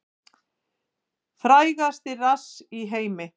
Frægasti rass í heimi